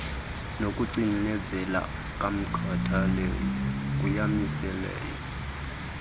nokucinezela komkhathaleli kuyamiseleka